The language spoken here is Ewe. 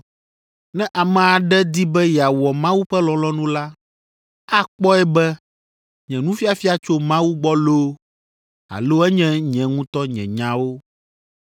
Ne ame aɖe di be yeawɔ Mawu ƒe lɔlɔ̃nu la, akpɔe be nye nufiafia tso Mawu gbɔ loo alo enye nye ŋutɔ nye nyawo.